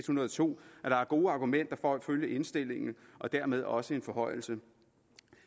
hundrede og to er gode argumenter for at følge indstillingen og dermed også en forhøjelse